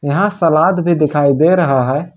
यहां सलाद भी दिखाई दे रहा है।